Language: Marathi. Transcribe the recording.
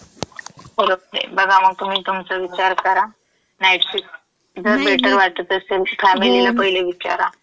बघा मग तुम्ही तुमचा विचार करा, नाईट शिफ्ट जर बेटर वाटत असेल, फॅमिलीला पहिले विचारा. नाही मी. हो.